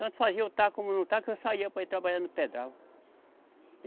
Tanto fazia eu está como não está que eu saía para ir trabalhar no pedral.